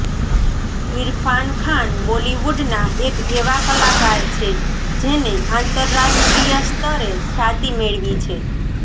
ઇરફાન ખાન બોલીવુડના એક એવા કલાકાર છે જેને આંતરરાષ્ટ્રીય સ્તરે ખ્યાતિ મેળવી છે